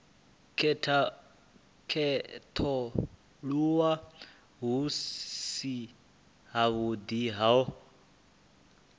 khethululwa hu si havhuḓi ho